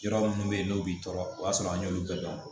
Yɔrɔ minnu bɛ yen n'u b'i tɔɔrɔ o y'a sɔrɔ an y'olu bɛɛ dɔn